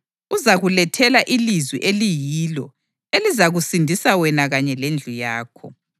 Uzakulethela ilizwi eliyilo elizakusindisa wena kanye lendlu yakho.’